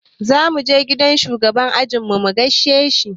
Zamu je gidan shugaban aji muje mu gaishe shi